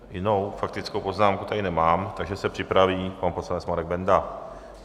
Jinou faktickou poznámku tady nemám, takže se připraví pan poslanec Marek Benda.